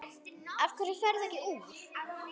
Af hverju ferðu ekki úr?